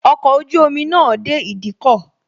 Ọkọ̀ ojú omi náà dé ìdíkọ̀